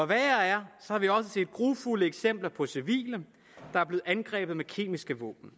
værre er har vi også set grufulde eksempler på civile der er blevet angrebet med kemiske våben